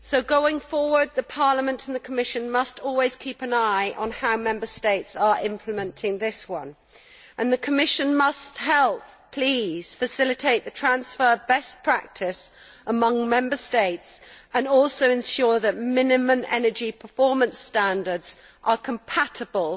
Going forward, Parliament and the Commission must always keep an eye on how Member States are implementing this one. The Commission must help please, facilitate the transfer of best practice among Member States and also ensure that minimum energy performance standards are compatible